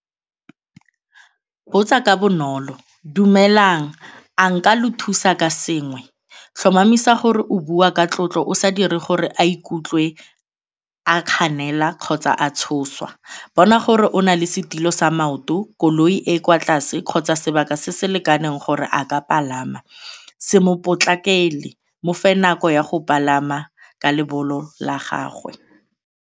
Botsa ka bonolo, dumelang a nka lo thusa ka sengwe? Tlhomamisa gore o bua ka tlotlo o sa dire gore a ikutlwe a kganela kgotsa a tshoswa. Bona gore o nale setilo sa maoto, koloi e e kwa tlase kgotsa sebaka se se lekaneng gore a ka palama, se mo potlakele, mofe nako ya go palama ka la gagwe.